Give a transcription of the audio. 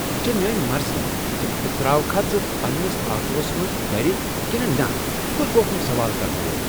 یہ چھےٚ میٲنۍ مرضی ز بہٕ ترٛاوکھا ژٕ پنٛنس آٹوس منٛز گرٕ کنہٕ نہ ژٕ کُس گوکھ سوال کرن وول؟